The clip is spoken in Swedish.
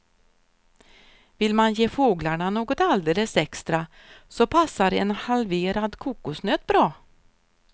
Vill man ge fåglarna något alldeles extra så passar en halverad kokosnöt bra.